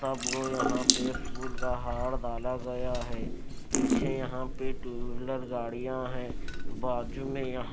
सब को यहां पे फूल का हार डाला गया है यहां पे टूलर गाड़ियां है बाजू में---